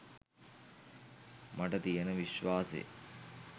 මට තියෙන විශ්වාසේ